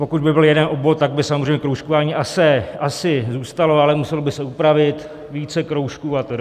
Pokud by byl jeden obvod, tak by samozřejmě kroužkování asi zůstalo, ale muselo by se upravit - více kroužků atd.